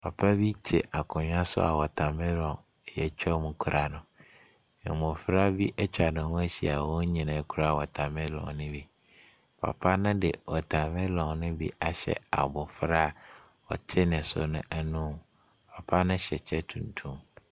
Papa bi te akonnwa so a watermelon a wɔatwa mu kura no. Mmɔfra bi atwa ne ho ahyia a wɔn nyinaa kura watermelon no bi. Papa no de watermelon no bi ahyɛ abɔfra a ɔte ne so no anom. Papa no hyɛ kyɛ tuntum.